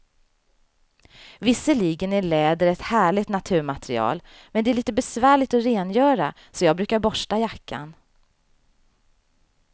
Visserligen är läder ett härligt naturmaterial, men det är lite besvärligt att rengöra, så jag brukar borsta jackan.